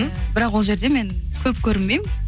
бірақ ол жерде мен көп көрінбеймін